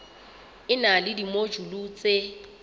e na le dimojule tse